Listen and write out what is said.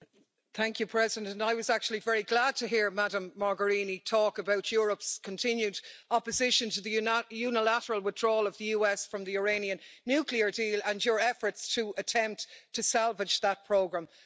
Madam President, I was actually very glad to hear Ms Mogherini talk about Europe's continued opposition to the unilateral withdrawal of the US from the Iranian nuclear deal and the efforts to attempt to salvage that programme.